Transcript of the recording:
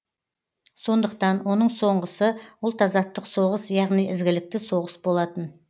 сондықтан оның соғысы ұлт азаттық соғыс яғни ізгілікті соғыс болатын